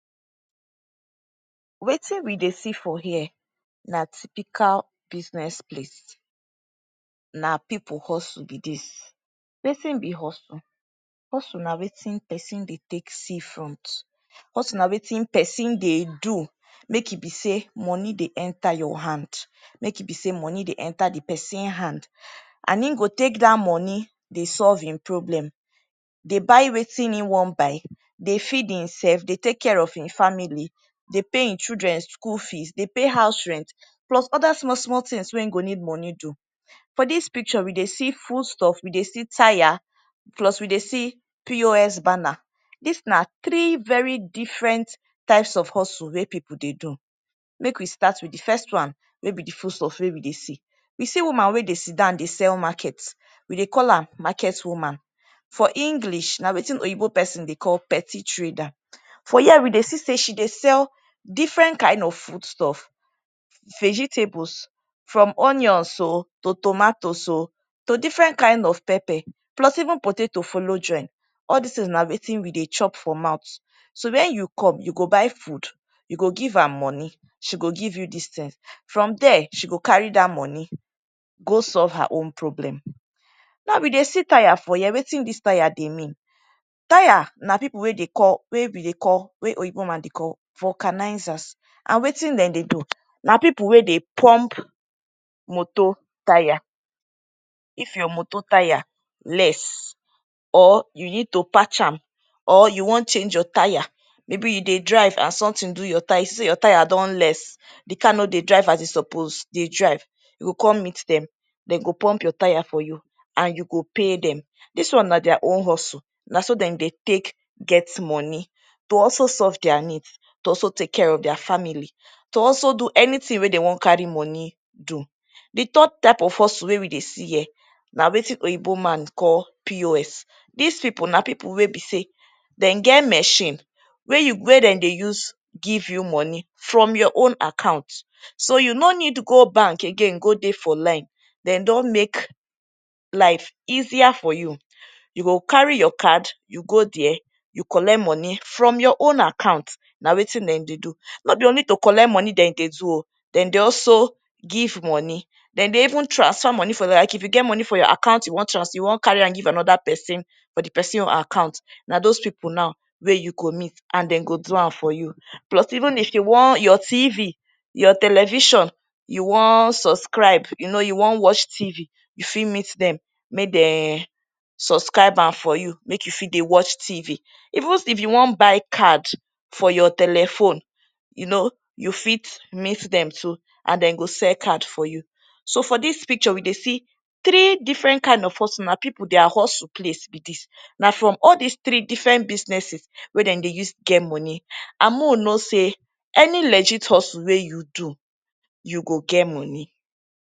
Wetin we see do for here na typical business place na people husle be dis wetin be hustle husule na wetin person dey take see front husule na wetin person dey do make e be sey money dey enter ur hand make e be sey money dey enter di person hand and e go take dah money dey solve en problem dey buy wetin[um]wan buy dey feed emself dey take care of[um]family dey pay en children school fees dey pay house rent plus Oda small small tins wey e go need money do for dis picture we dey see foodstuff we dey see tire plus we dey see POS banner dis na three very different types of husule wey people dey do make we start wit di fest one wey be di foodstuff wey we dey see you see woman wey dey sit down dey sell market dem dey call am market woman for English na wetin oyinbo person dey call petty trader for here we dey see sey she dey sell different kind of foodstuffs vegetables from onions o to tomatoes o to different kind of pepper plus even potato follow join all dis tins na wetin we dey chop for mouth so when u come u go buy food u go give am money she go give you this tins from dere she go carry dah money go solve her own problem naw we dey see tire for here wetin dis tire dey mean tire na people wey dey call wey we dey call wey oyinbo man dey call vulcanizers and wetin dem dey do na people wey dey pump Moto tire if ur moto tyre less or u need to patch am or u wan change ur tire maybe you dey drive and sumtin do ur tyre u see sey ur tyre don less di car no dey drive as e suppose dey drive you go come meet dem dem go pump ur tire for u and u go pay dem dis one na their own husule naso dem dey take get money to also solve their needs to also take care of their family to also do anything wey dem wan carry money do di third type of husule wey we dey see here na wetin oyinbo man call POS dis people na people wey be sey dem get machine wey you wey dem go use gyv u money from ur own account so u no need go bank again go dey for line dem don make life easier for u u go carry your card u go dere u colet moni from ur own account na wetin dem dey do no be only to colet moni dem dey do o dem dey also give moni dem dey even transfer moni for like if u geh moni for ur account u wan trans u wan cari am gyv anoda person for di person own account na dose people now wey u go meet and dem go do am for you even if u wan ur TV ur television u wann subscribe you know u wan wash tv u fit mit dem make demm suscribe am for u make u fit dey wash tv even if you wan buy card for ur telephone u know u fit mit dem to and dem go sell card for u so for dis pisure we dey see tree diferent kind of husule na people their husule place be dis na from all dis three different businesses wey dem dey use geh moni and may we know sey any legit husule wey you do u go geh moni